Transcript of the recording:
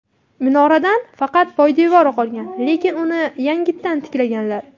Minoradan faqat poydevori qolgan, lekin uni yangitdan tiklaganlar.